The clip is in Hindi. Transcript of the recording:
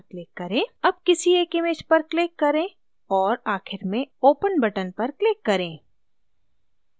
अब किसी एक images पर click करें और आखिर में open button पर click करें